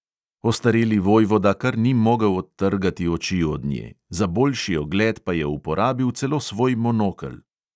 Ostareli vojvoda kar ni mogel odtrgati oči od nje, za boljši ogled pa je uporabil celo svoj monokel.